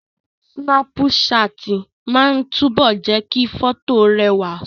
Súnápù ṣáàtì máa ń túbọ̀ jẹ́ kí fọ́tò rẹwà si